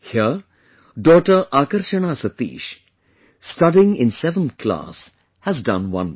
Here, daughter Akarshana Satish studying in seventh class has done wonders